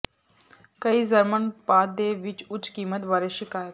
ਕਈ ਜਰਮਨ ਉਤਪਾਦ ਦੇ ਵੀ ਉੱਚ ਕੀਮਤ ਬਾਰੇ ਸ਼ਿਕਾਇਤ